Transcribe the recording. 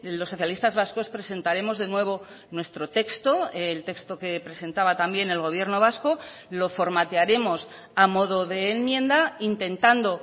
los socialistas vascos presentaremos de nuevo nuestro texto el texto que presentaba también el gobierno vasco lo formatearemos a modo de enmienda intentando